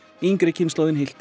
yngri kynslóðin